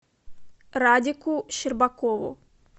радику щербакову